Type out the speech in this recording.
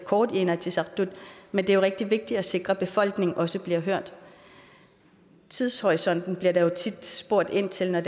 kort i inatsisartut men det er rigtig vigtigt at sikre at befolkningen også bliver hørt tidshorisonten bliver der tit spurgt ind til når